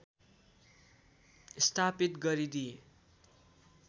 स्थापित गरिदिए